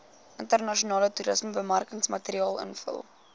internasionale toerismebemarkingsmateriaal invul